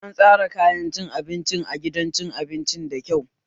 An tsaran kayan cin abincin a gidan cin abincin da kyau